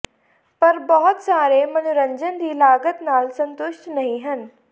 ਪਰ ਬਹੁਤ ਸਾਰੇ ਮਨੋਰੰਜਨ ਦੀ ਲਾਗਤ ਨਾਲ ਸੰਤੁਸ਼ਟ ਨਹੀ ਹਨ